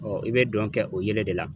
i bɛ dɔn kɛ o yelen de la.